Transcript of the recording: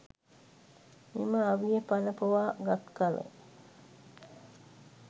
මෙම අවිය පණ පොවා ගත් කල